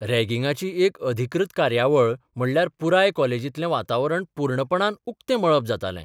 रेंगिंगाची एक अधिकृत कार्यावळ म्हणल्यार पुराय कॉलेजीत्लें वातावरण पुर्णपणान उक्तें मळब जातालें.